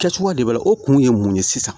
Kɛcogoya de b'a la o kun ye mun ye sisan